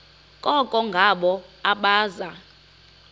koko ngabo abaza